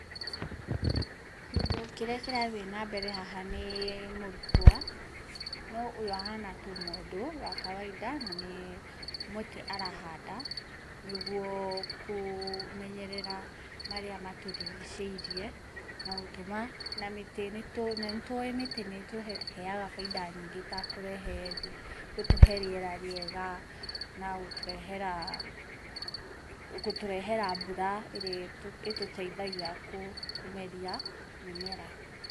Kĩndu kĩrĩa kĩrathiĩ nambere haha nĩ mũrutwo, no ũyũ ahana tu mũndũ wa kawainda na nĩ mũtĩ arahanda nĩguo kũmenyerera marĩa matũrigicĩirie, na gũtũma, na nĩ tũuĩ mĩtĩ nĩ ĩtũheaga faida nyingĩ ta gũtũhe rĩera rĩega, na gũtũrehera, gũtũrehera mbura ĩrĩa ĩtũteithagia kũmeria mĩmera.